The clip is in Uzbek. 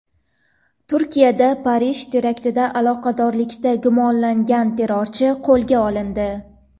Turkiyada Parij teraktida aloqadorlikda gumonlangan terrorchi qo‘lga olindi.